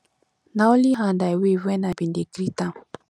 na only hand i wave wen i ben dey greet am